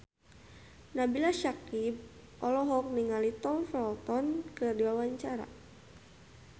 Nabila Syakieb olohok ningali Tom Felton keur diwawancara